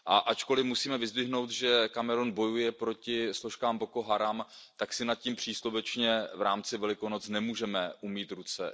Ačkoliv musíme vyzdvihnout, že Kamerun bojuje proti složkám Boko Haram, tak si nad tím příslovečně v rámci Velikonoc nemůžeme umýt ruce.